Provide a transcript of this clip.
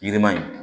Yirima in